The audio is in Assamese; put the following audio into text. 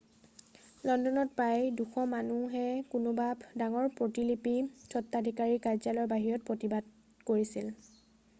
লণ্ডনত প্ৰায় 200 মানুহে কোনোবা ডাঙৰ প্ৰতিলিপি স্তত্বাধিকাৰীৰ কাৰ্য্যালয়ৰ বাহিৰত প্ৰতিবাদ কৰিছিল